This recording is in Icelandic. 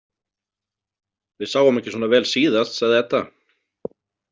Við sáum ekki svona vel síðast, sagði Edda.